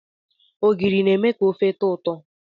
Ogiri na-eme ka ofe tọọ ụtọ.